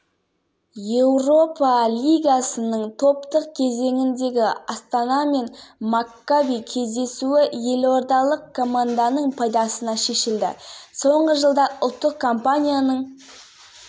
қосу мүмкін еместей көрінген дегенмен кеніш басындағы бүгінгі қызу тірлік оның мүмкіндігі зор екенін айқындап